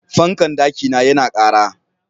Fankan ɗaki na ya na ƙara